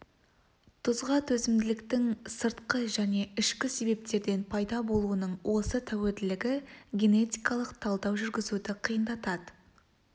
тұзға төзімділіктің сыртқы және ішкі себептерден пайда болуының осы тәуелділігі генетикалық талдау жүргізуді қиындатады